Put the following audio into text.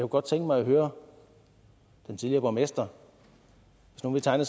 godt tænke mig at høre den tidligere borgmester hvis nu vi tegner